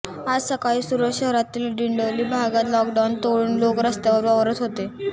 आज सकाळी सुरत शहरातील डींडोली भागात लॉकडाऊन तोडून लोक रस्त्यावर वावरत होते